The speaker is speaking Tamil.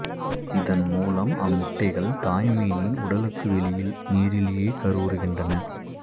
இதன் மூலம் அம்முட்டைகள் தாய் மீனின் உடலுக்கு வெளியில் நீரிலேயே கருவுருகின்றன